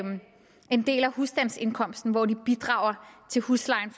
en del af husstandsindkomsten hvor de bidrager til huslejen